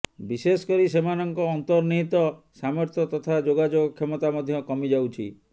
ବିଶେଷକରି ସେମାନଙ୍କ ଆନ୍ତର୍ନିହିତ ସାମର୍ଥ୍ୟ ତଥା ଯୋଗାଯୋଗ କ୍ଷମତା ମଧ୍ୟ କମିଯାଉଛି